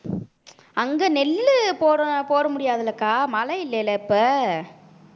அங்க நெல்லு போட போட முடியாதுலக்கா மழை இல்லைல இப்ப